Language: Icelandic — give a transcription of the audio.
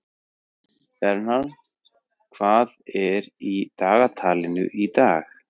Bernhard, hvað er í dagatalinu í dag?